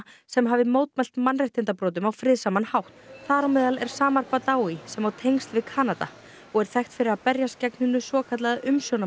sem hafi mótmælt mannréttindabrotum á friðsaman hátt þar á meðal er samar sem á tengsl við Kanada og er þekkt fyrir að berjast gegn hinu svokallað